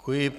Děkuji.